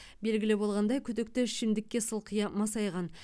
белгілі болғандай күдікті ішімдікке сылқия масайған